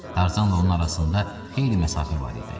Tarzanla onun arasında xeyli məsafə var idi.